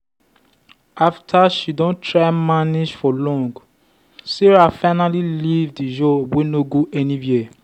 after she don try manage for long sarah finally leave the job wey no go anywhere.